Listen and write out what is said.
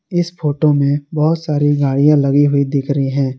इस फोटो में बहुत सारी गाड़ियां लगी हुई दिख रही है।